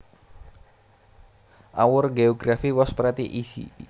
Our geography was pretty easy